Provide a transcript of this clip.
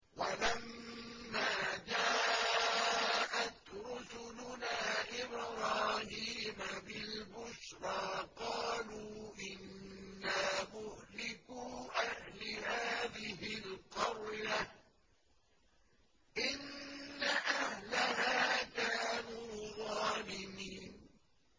وَلَمَّا جَاءَتْ رُسُلُنَا إِبْرَاهِيمَ بِالْبُشْرَىٰ قَالُوا إِنَّا مُهْلِكُو أَهْلِ هَٰذِهِ الْقَرْيَةِ ۖ إِنَّ أَهْلَهَا كَانُوا ظَالِمِينَ